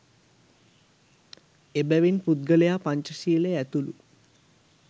එබැවින් පුද්ගලයා පංච ශීලය ඇතුළු